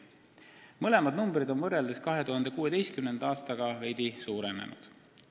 Mõlemad näitajad on võrreldes 2016. aastaga veidi suurenenud.